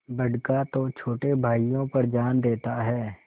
बड़का तो छोटे भाइयों पर जान देता हैं